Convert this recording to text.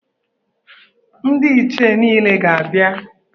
Ndị Ichie niile ga-abịa.